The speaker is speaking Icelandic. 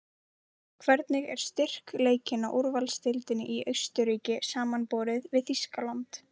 Hvernig er styrkleikinn á úrvalsdeildinni í Austurríki samanborið við Þýskaland?